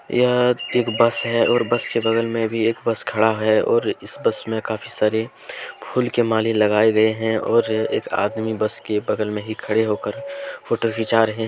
यह एक बस है और बस के बगल में भी एक बस खड़ा है और इस बस में काफी सारे फूल के माला लगाए गए हैं और एक आदमी बस के बगल में ही खड़े होकर फोटो खींचा रहे हैं।